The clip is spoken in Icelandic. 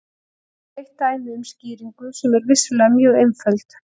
Þetta er eitt dæmi um skýringu, sem er vissulega mjög einföld.